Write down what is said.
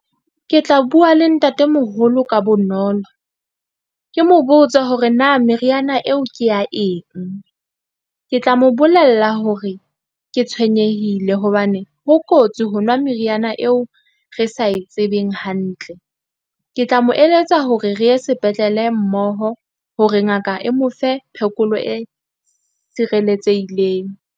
Ke tla bua le ntatemoholo ka bonolo, ke mo botsa hore na meriana eo ke ya eng. Ke tla mo bolella hore ke tshwenyehile hobane ho kotsi ho nwa meriana eo re sa e tsebeng hantle. Ke tla mo eletsa hore re ye sepetlele mmoho hore ngaka e mo fe phekolo e sireletsehileng.